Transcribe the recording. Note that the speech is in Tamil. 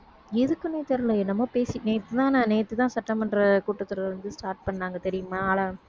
எதுக்குன்னே தெரியலே என்னமோ பேசி நேத்துதான் நான் நேத்துதான் சட்டமன்ற கூட்டத் தொடர் வந்து start பண்ணாங்க தெரியுமா